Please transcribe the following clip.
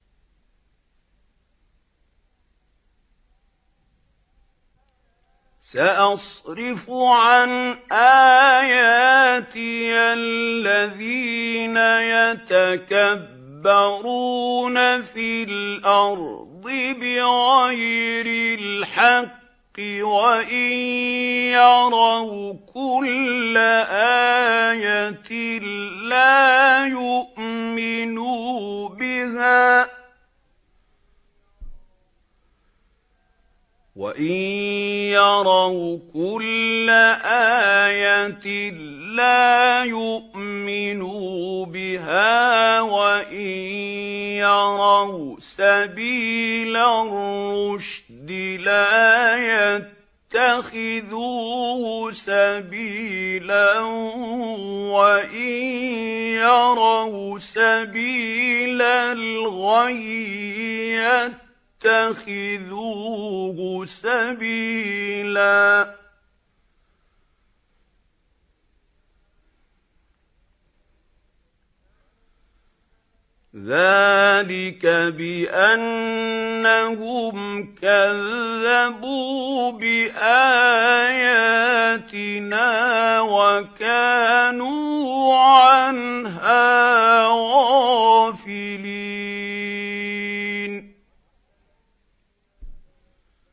سَأَصْرِفُ عَنْ آيَاتِيَ الَّذِينَ يَتَكَبَّرُونَ فِي الْأَرْضِ بِغَيْرِ الْحَقِّ وَإِن يَرَوْا كُلَّ آيَةٍ لَّا يُؤْمِنُوا بِهَا وَإِن يَرَوْا سَبِيلَ الرُّشْدِ لَا يَتَّخِذُوهُ سَبِيلًا وَإِن يَرَوْا سَبِيلَ الْغَيِّ يَتَّخِذُوهُ سَبِيلًا ۚ ذَٰلِكَ بِأَنَّهُمْ كَذَّبُوا بِآيَاتِنَا وَكَانُوا عَنْهَا غَافِلِينَ